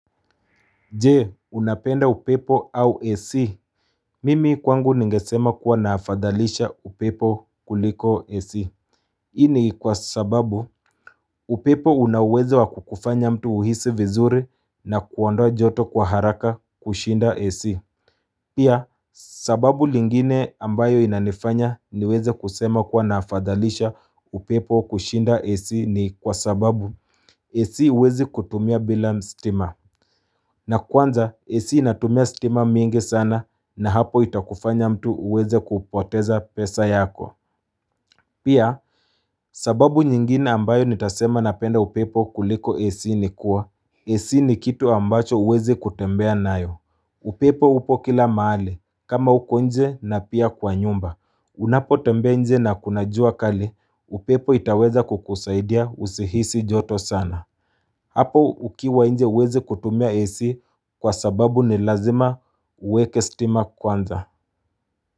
Je unapenda upepo au AC Mimi kwangu ningesema kuwa nafathalisha upepo kuliko AC hii ni kwa sababu upepo una uwezo wa kukufanya mtu uhisi vizuri na kuondoa joto kwa haraka kushinda AC Pia sababu lingine ambayo inanifanya niweze kusema kuwa nafathalisha upepo kushinda AC ni kwa sababu AC huwezi kutumia bila stima na kwanza, AC inatumia stima mingi sana na hapo itakufanya mtu uweze kupoteza pesa yako. Pia, sababu nyingine ambayo nitasema napenda upepo kuliko AC ni kuwa, AC ni kitu ambacho huwezi kutembea nayo. Upepo upo kila mahali, kama uko nje na pia kwa nyumba. Unapo tembea nje na kuna jua kali, upepo itaweza kukusaidia usihisi joto sana. Hapo ukiwa nje huwezi kutumia AC kwa sababu ni lazima uweke stima kwanza.